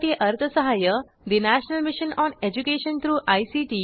यासाठी अर्थसहाय्य national mission on education through I